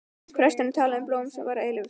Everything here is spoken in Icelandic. Presturinn talaði um blóm sem væru eilíf.